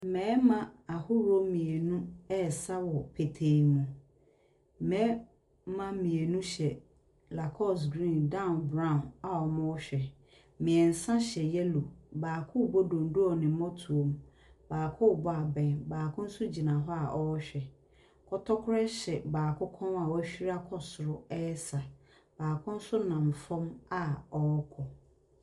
Mmarima ahodoɔ mmienu ɛresa wɔ petee mu, mmarima mmienu hyɛ Lacoste green down brown a wɔrehwɛ, mmiɛnsa hyɛ yellow. Baako rebɔ dondo wɔ ne mmɔtoam, baako rebɔ abɛn, baako nso gyina a ɔrehwɛ. Kɔtɔkorɔ hyɛ baako kɔn a wahuri akɔ soro ɛresa. Baako nso nam fam a ɔrekɔ.